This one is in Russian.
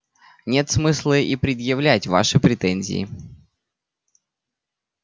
нет смысла и предъявлять ваши претензии